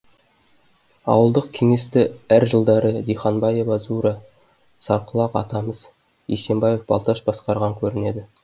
ауылдық кеңесті әр жылдары диханбаева зура сарқұлақ атамыз есенбаев балташ басқарған көрінеді